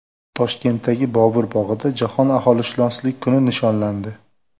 Toshkentdagi Bobur bog‘ida Jahon aholishunoslik kuni nishonlandi.